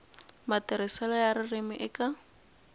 matirhiselo ya ririmi eka